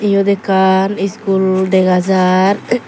yot ekkan iskul dega jar.